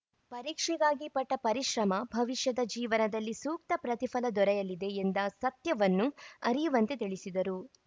ಪರೀಕ್ಷೆಗಾಗಿ ಪಟ್ಟಪರಿಶ್ರಮ ಭವಿಷ್ಯದ ಜೀವನದಲ್ಲಿ ಸೂಕ್ತ ಪ್ರತಿಫಲ ದೊರೆಯಲಿದೆ ಎಂದ ಸತ್ಯವನ್ನು ಅರಿಯುವಂತೆ ತಿಳಿಸಿದರು